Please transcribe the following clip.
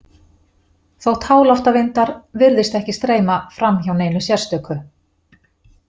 Þótt háloftavindar virðist ekki streyma fram hjá neinu sérstöku.